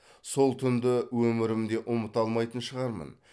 сол түнді өмірімде ұмыта алмайтын шығармын